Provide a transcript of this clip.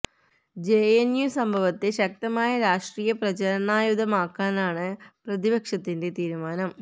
J N U സംഭവത്തെ ശക്തമായ രാഷ്ട്രീയ പ്രചരണായുധമാക്കാനാണ് പ്രതിപക്ഷത്തിന്റെ തീരുമാനം